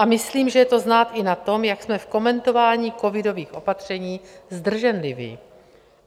A myslím, že je to znát i na tom, jak jsme v komentování covidových opatření zdrženliví.